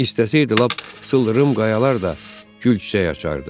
İstəsəydi, lap sıldırım qayalar da gül çiçək açardı.